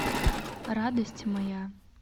радость моя